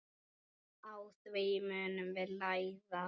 Á því munum við læra.